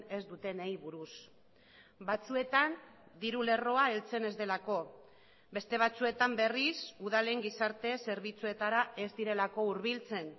ez dutenei buruz batzuetan diru lerroa heltzen ez delako beste batzuetan berriz udalen gizarte zerbitzuetara ez direlako hurbiltzen